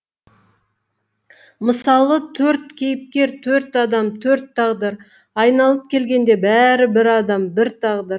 мысалы төрт кейіпкер төрт адам төрт тағдыр айналып келгенде бәрі бір адам бір тағдыр